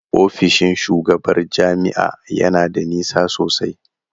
Ofishin shugabar jami'a ya na da nisa sosai.